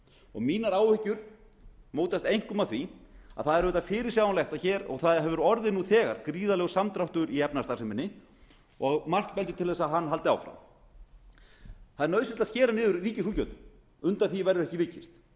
og mínar áhyggjur mótast einkum af því að það er auðvitað fyrirsjáanleg og það hefur orðið nú þegar gríðarlegur samdráttur í efnahagsstarfseminni og margt bendir til þess að hann haldi áfram það er nauðsynlegt að skera niður í ríkisútgjöldum undan því verður ekki vikist